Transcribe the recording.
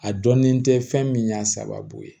A dɔnnin tɛ fɛn min y'a sababu ye